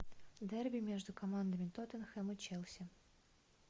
дерби между командами тоттенхэм и челси